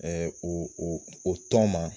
Ɛɛ o o o tɔn ma